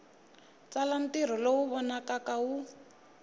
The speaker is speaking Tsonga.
tsala ntirho lowu vonakaka wu